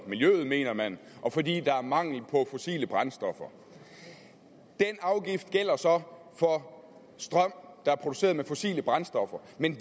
og miljøet mener man og fordi der er mangel på fossile brændstoffer den afgift gælder så for strøm der er produceret med fossile brændstoffer men